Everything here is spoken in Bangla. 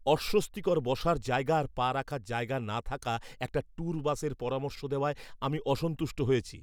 অস্বস্তিকর বসার জায়গা আর পা রাখার জায়গা না থাকা একটা ট্যুর বাসের পরামর্শ দেওয়ায় আমি অসন্তুষ্ট হয়েছি।